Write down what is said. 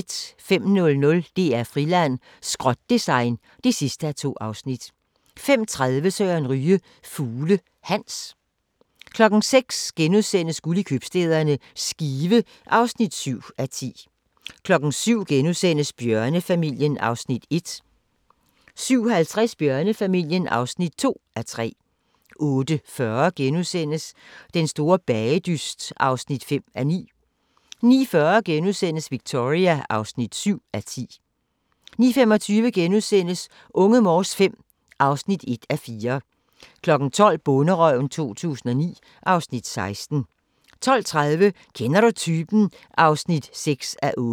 05:00: DR-Friland: Skrot-design (2:2) 05:30: Søren Ryge – Fugle Hans 06:00: Guld i købstæderne – Skive (7:10)* 07:00: Bjørnefamilien (1:3)* 07:50: Bjørnefamilien (2:3) 08:40: Den store bagedyst (5:9)* 09:40: Victoria (7:10)* 10:25: Unge Morse V (1:4)* 12:00: Bonderøven 2009 (Afs. 16) 12:30: Kender du typen? (6:8)